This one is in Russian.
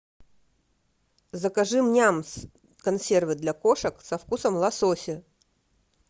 закажи нямс консервы для кошек со вкусом лосося